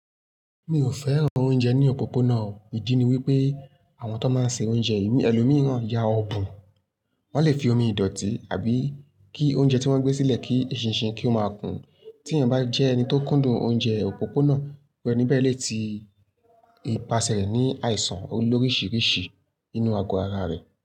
Mi ò fẹ́ran oúnjẹ ní òpópónà o. Ìdí ni wípé àwọn tọ́n máa n se oúnjẹ yìí, ẹlòmíì náà ya ọ̀bùn, wọn le fi omi ìdọ̀tí àbí kí oúnjẹ tí wọ́n gbé sílẹ̀ kí eṣinṣin kí ó máa kùn-ún. Tí èèyàn bá jẹ́ ẹni tó kúndùn oúnjẹ òpópónà, irú ẹni bẹ́ẹ̀ lè ti ipasẹ̀ rẹ̀ ní àìsàn olóríṣiiríṣi nínú àgọ́ ara rẹ̀.